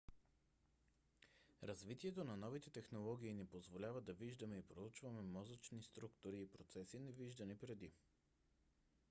развитието на новите технологии ни позволява да виждаме и проучваме мозъчни структури и процеси невиждани преди